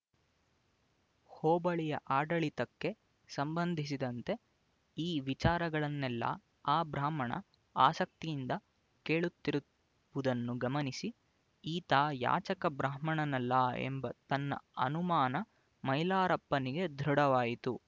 ಹೋಬಳಿಯ ಆಡಳಿತಕ್ಕೆ ಸಂಬಂಧಿಸಿದಂತೆ ಈ ವಿಚಾರಗಳನ್ನೆಲ್ಲ ಆ ಬ್ರಾಹ್ಮಣ ಆಸಕ್ತಿಯಿಂದ ಕೇಳುತ್ತಿ ರುವುದನ್ನು ಗಮನಿಸಿ ಈತ ಯಾಚಕ ಬ್ರಾಹ್ಮಣನಲ್ಲ ಎಂಬ ತನ್ನ ಅನುಮಾನ ಮೈಲಾರಪ್ಪನಿಗೆ ದೃಢವಾಯಿತು